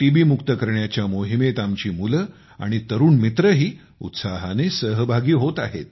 बी मुक्त करण्याच्या मोहिमेत आमची मुले आणि तरुण मित्रही उत्साहाने सहभागी होत आहेत